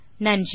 நன்றி